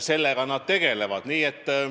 Sellega nad tegelevadki.